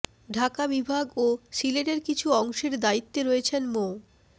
ঢাকা বিভাগ ও সিলেটের কিছু অংশের দায়িত্বে রয়েছেন মো